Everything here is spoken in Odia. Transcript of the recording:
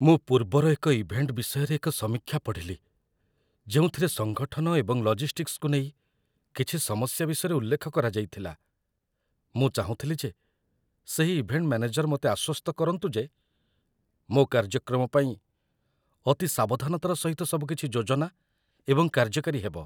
ମୁଁ ପୂର୍ବର ଏକ ଇଭେଣ୍ଟ ବିଷୟରେ ଏକ ସମୀକ୍ଷା ପଢ଼ିଲି ଯେଉଁଥିରେ ସଙ୍ଗଠନ ଏବଂ ଲଜିଷ୍ଟିକ୍ସକୁ ନେଇ କିଛି ସମସ୍ୟା ବିଷୟରେ ଉଲ୍ଲେଖ କରାଯାଇଥିଲା ମୁଁ ଚାହୁଁଥିଲି ଯେ ସେହି ଇଭେଣ୍ଟ ମ୍ୟାନେଜର୍ ମୋତେ ଆଶ୍ୱସ୍ତ କରନ୍ତୁ ଯେ ମୋ କାର୍ଯ୍ୟକ୍ରମ ପାଇଁ ଅତି ସାବଧାନତାର ସହିତ ସବୁକିଛି ଯୋଜନା ଏବଂ କାର୍ଯ୍ୟକାରୀ ହେବ